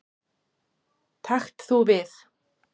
Takt þú við.